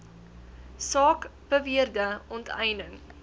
saak beweerde onteiening